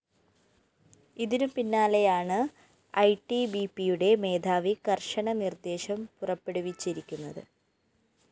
ഇതിനു പിന്നാലെയാണ് ഐടിബിപിയുടെ മേധാവി കര്‍ശന നിര്‍ദ്ദേശം പുറപ്പെടുവിച്ചിരിക്കുന്നത്